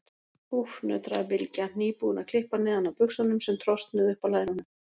Úff, nötraði Bylgja, nýbúin að klippa neðan af buxunum sem trosnuðu upp á lærunum.